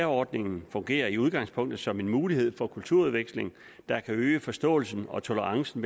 ordningen fungerer i udgangspunktet som en mulighed for kulturudveksling der kan øge forståelsen og tolerancen